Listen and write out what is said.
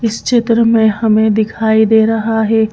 इस चित्र में हमें दिखाई दे रहा है।